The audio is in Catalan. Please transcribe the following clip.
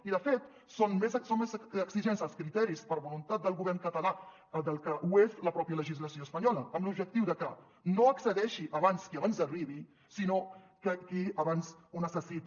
i de fet són més exigents els criteris per voluntat del govern català del que ho és la pròpia legislació espanyola amb l’objectiu de que no accedeixi abans qui abans arribi sinó que qui abans ho necessiti